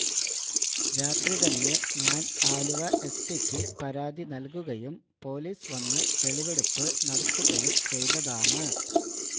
രാത്രി തന്നെ ഞാന് ആലുവ എസ്പിയ്ക്ക് പരാതി നല്കുകയും പോലീസ് വന്ന് തെളിവെടുപ്പ് നടത്തുകയും ചെയ്തതാണ്